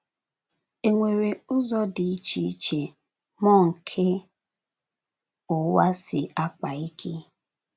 E nwere ụzọ dị iche iche mmụọ nke ụwa si akpa ike?.